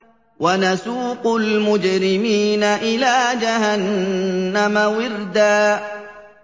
وَنَسُوقُ الْمُجْرِمِينَ إِلَىٰ جَهَنَّمَ وِرْدًا